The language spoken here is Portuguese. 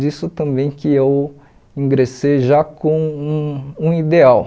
disso também que eu ingressei já com um um ideal.